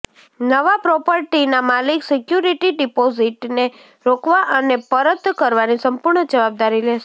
નવા પ્રોપર્ટીના માલિક સિક્યુરિટી ડિપોઝિટને રોકવા અને પરત કરવાની સંપૂર્ણ જવાબદારી લેશે